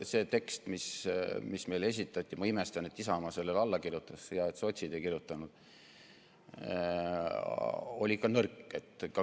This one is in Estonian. See tekst, mis meile esitati – ma imestan, et Isamaa sellele alla kirjutas, hea, et sotsid ei kirjutanud –, oli nõrk.